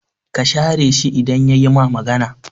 Ka share shi idan yayi ma magana